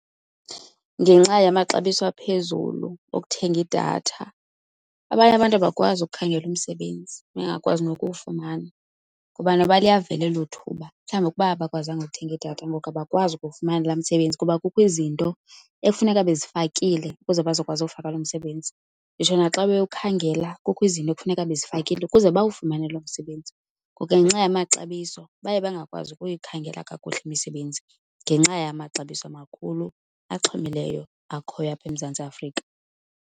Ngenxa yamaxabiso aphezulu okuthenga idatha abanye abantu abakwazi ukukhangela umsebenzi, bangakwazi nokuwufumana. Ngoba noba liyavela elo thuba, mhlawumbi ukuba abakwazanga ukuthenga idatha ngoku abakwazi ukuwufumana laa msebenzi kuba kukho izinto ekufuneka bezifakile ukuze bazokwazi uwufaka loo msebenzi. Nditsho naxa bewukhangela, kukho izinto ekufuneka bezifakile ukuze bawufumane loo msebenzi. Ngoku ke ngenxa yamaxabiso baye bangakwazi ukuyikhangela kakuhle imisebenzi, ngenxa yamaxabiso amakhulu, axhomileyo akhoyo apha eMzantsi Afrika.